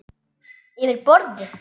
Yfir borðið.